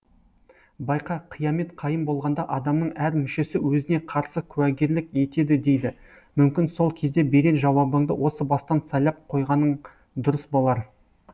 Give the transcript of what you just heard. байқа қиямет қайым болғанда адамның әр мүшесі өзіне қарсы куәгерлік етеді дейді мүмкін сол кезде берер жауабыңды осы бастан сайлап қойғаның дұрыс болар